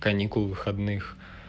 каникул выходных